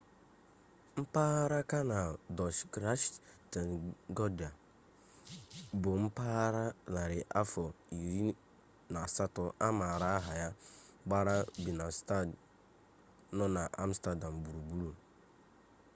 mpaghara kanal dọch: grachtengordel bụ mpaghara narị afọ 17 a maara aha ya gbara binenstad nọ n'amstadam gburugburu